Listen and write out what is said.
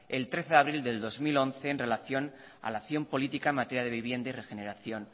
el trece de abril del dos mil once en relación a la acción política en materia de vivienda y regeneración